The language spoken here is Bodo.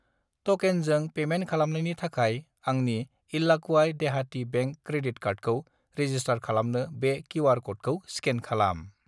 ट'केनजों पेमेन्ट खालामनायनि थाखाय आंनि इल्लाक्वाय देहाटि बेंक क्रेडिट कार्डखौ रेजिस्टार खालामनो बे किउ.आर. क'डखौ स्केन खालाम।